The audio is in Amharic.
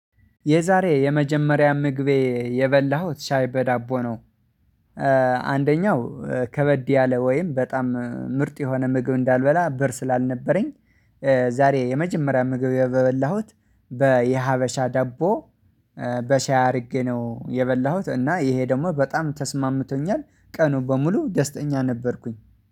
የዛሬ የመጀመሪያ ምግቤ የበላሁት ሻይ በዳቦ ነው አንደኛው ከበድ ያለ ወይም በጣም ምርጥ የሆነ ምግብ እንዳልበላ ብር ስላልነበረኝ። ዛሬ የመጀመሪያ ምግብ የበላሁት በየሀበሻ ዳቦ በሻይ አድርጌ ነው የበላሁት እና ይሄ ደግሞ በጣም ተስማምቶኛል። ቀኑን በሙሉ ደስተኛ ነበርኩኝ